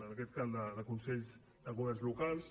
en aquest cas la de consells de governs locals